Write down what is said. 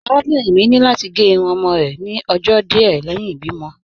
Arábìnrin mi ni lati gẹ irun ọmọ rẹ ni ọjọ́ díẹ̀ lẹhin ibìmo.